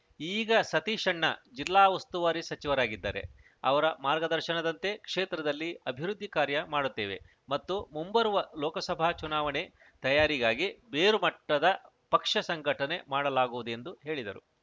ಈಗ ಸತೀಶಣ್ಣ ಜಿಲ್ಲಾ ಉಸ್ತುವಾರಿ ಸಚಿವರಾಗಿದ್ದಾರೆ ಅವರ ಮಾರ್ಗದರ್ಶನದಂತೆ ಕ್ಷೇತ್ರದಲ್ಲಿ ಅಭಿವೃದ್ಧಿ ಕಾರ್ಯ ಮಾಡುತ್ತೇವೆ ಮತ್ತು ಮುಂಬರುವ ಲೋಕಸಭಾ ಚುನಾವಣೆ ತಯಾರಿಗಾಗಿ ಬೇರು ಮಟ್ಟದ ಪಕ್ಷ ಸಂಘಟನೆ ಮಾಡಲಾಗುವುದು ಎಂದು ಹೇಳಿದರು